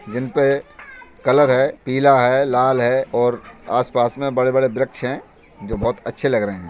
जिन पे कलर है पीला है लाल है और आसपास में बड़े बड़े वृक्ष हैं जो बहुत अच्छे लग रहे हैं।